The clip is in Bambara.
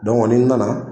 ni n nana